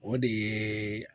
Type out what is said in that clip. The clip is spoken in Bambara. O de ye